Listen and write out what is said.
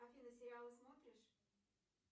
афина сериалы смотришь